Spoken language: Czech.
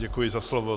Děkuji za slovo.